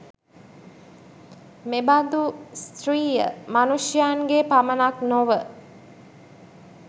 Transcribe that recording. මෙ බඳු ස්ත්‍රිය මනුෂ්‍යයන්ගේ පමණක් නොව